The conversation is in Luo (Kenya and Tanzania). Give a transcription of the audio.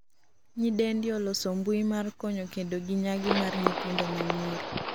Nyidendi oloso mbui mar konyo kedo gi nyangi mar nyithindo ma nyisi